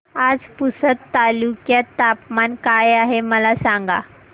आज पुसद तालुक्यात तापमान काय आहे मला सांगा